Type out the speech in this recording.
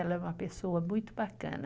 Ela é uma pessoa muito bacana.